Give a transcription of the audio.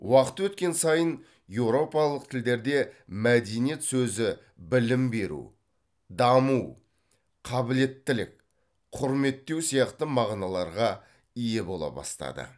уақыт өткен сайын еуропалық тілдерде мәдениет сөзі білім беру даму қабілеттілік құрметтеу сияқты мағыналарға ие бола бастады